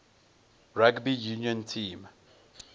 rugby union team